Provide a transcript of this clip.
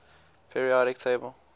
periodic table